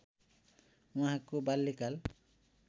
उहाँको बाल्यकाल